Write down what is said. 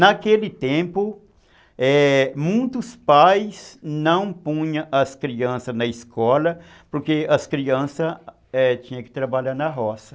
Naquele tempo, é, muitos pais não punham as crianças na escola, porque as crianças, é, tinham que trabalhar na roça.